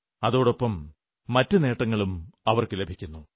അതോടൊപ്പം മറ്റു നേട്ടങ്ങളും അവർക്കു ലഭിക്കുന്നു